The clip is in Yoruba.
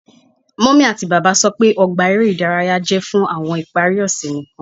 Mummy ati baba sọ pe ogba ere idaraya jẹ fun awọn ipari ose nikan